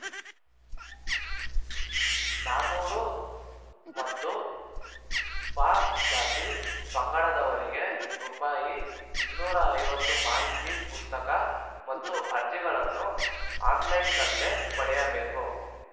ನಾನೂರು ಮತ್ತು ಪಜಾತಿ ಪಂಗಡದವರಿಗೆ ರೂಪಾಯಿ ಇನ್ನೂರ ಐವತ್ತು ಮಾಹಿತಿ ಪುಸ್ತಕ ಮತ್ತು ಅರ್ಜಿಗಳನ್ನು ಆನ್‌ಲೈನ್‌ನಲ್ಲೇ ಪಡೆಯಬೇಕು